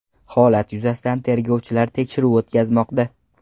Holat yuzasidan tergovchilar tekshiruv o‘tkazmoqda.